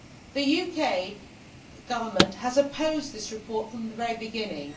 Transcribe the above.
The UK Government has opposed this report from the very beginning.